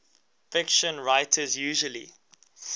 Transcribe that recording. fiction writers usually